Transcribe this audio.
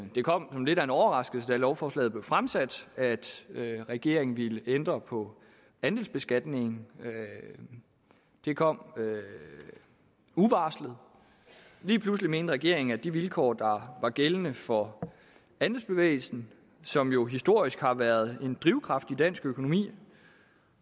det kom som lidt af en overraskelse da lovforslaget blev fremsat at regeringen ville ændre på andelsbeskatningen det kom uvarslet lige pludselig mente regeringen at de vilkår der er gældende for andelsbevægelsen som jo historisk har været en drivkraft i dansk økonomi